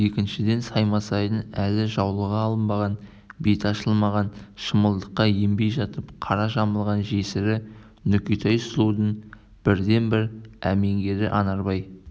екіншіден саймасайдың әлі жаулығы алынбаған беті ашылмаған шымылдыққа енбей жатып қара жамылған жесірі нүкетай сұлудың бірден-бір әмеңгері анарбай